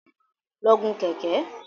Lọ gun Kẹ̀kẹ́!